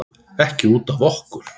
Ekki út af okkur.